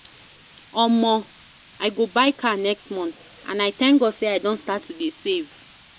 Omo! I go buy car next month and I thank God say I don start to dey save